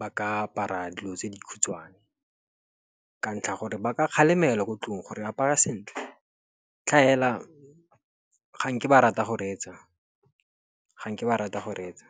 ba ka apara dilo tse dikhutshwane. Ka ntlha gore ba ka kgalemelwa ko ntlong gore apara sentle tlhaela ga nke ba rata go reetsa.